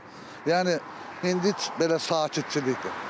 Yəni indi belə sakitçilikdir.